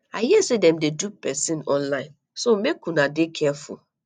i hear say dem dey dupe person online so make una dey careful